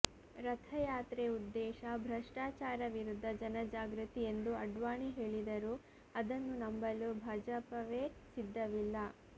ರಥ ಯಾತ್ರೆ ಉದ್ದೇಶ ಭ್ರಷ್ಟಾಚಾರ ವಿರುದ್ಧ ಜನ ಜಾಗೃತಿ ಎಂದು ಅಡ್ವಾಣಿ ಹೇಳಿದರೂ ಅದನ್ನು ನಂಬಲು ಭಾಜಪವೇ ಸಿದ್ಧವಿಲ್ಲ